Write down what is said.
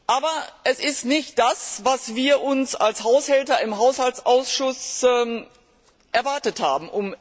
Aber es ist nicht das, was wir uns als Haushälter im Haushaltsausschuss erwartet haben.